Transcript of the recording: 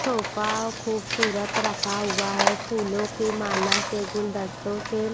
sofa खूबसूरत रखा हुआ है फूलों की माला से गुलदस्तों से --